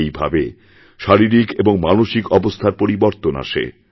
এই ভাবে শারীরিক এবং মানসিক অবস্থার পরিবর্তনআসে